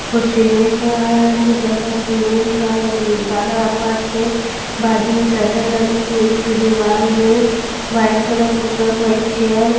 वो सीमेंट वाली जगह सीमेंट वाला फर्श है बाजू में शटर लगी हुई है इसकी दीवाल में व्हाईट कलर पुता हैं एक चेयर है।